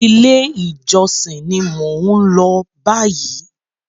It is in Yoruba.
Ilé ìjosìn ní mo n lọ báyìí.